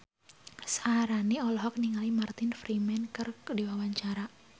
Syaharani olohok ningali Martin Freeman keur diwawancara